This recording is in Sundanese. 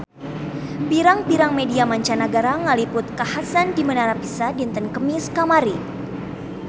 Pirang-pirang media mancanagara ngaliput kakhasan di Menara Pisa dinten Kemis kamari